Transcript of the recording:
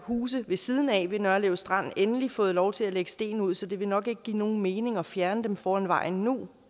huse ved siden af nørlev strand endelig fået lov til at lægge sten ud så det vil nok ikke give nogen mening at fjerne dem foran vejen nu